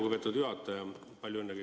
Lugupeetud juhataja!